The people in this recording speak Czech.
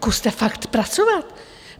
Zkuste fakt pracovat.